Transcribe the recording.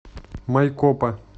майкопа